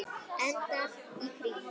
Enda allt í kring.